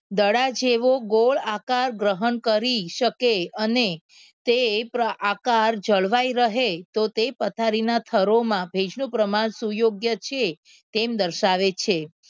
દડા જેવો ગોળ આકાર ગ્રહણ કરી શકે અને તે આકાર જળવાઈ રહે તો તે પથારીના થરોમા ભેજનું પ્રમાણ સુ યોગ્ય છે તેમ દર્શાવે છે.